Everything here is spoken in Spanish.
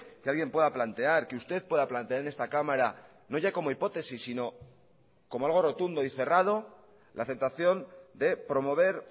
que alguien pueda plantear que usted pueda plantear en esta cámara no ya como hipótesis sino como algo rotundo y cerrado la aceptación de promover